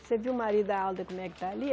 Você viu o marido da Alda como é que está ali?